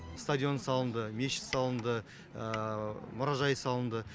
стадион салынды мешіт салынды мұражай салынды